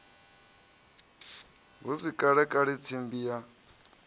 hu si kalekale tsimbi ya